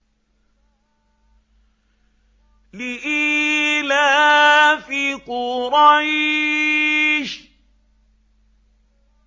لِإِيلَافِ قُرَيْشٍ